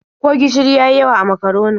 Ko gishiri ya yi yawa a makaronin?